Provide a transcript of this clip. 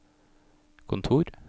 kontor